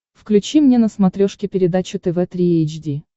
включи мне на смотрешке передачу тв три эйч ди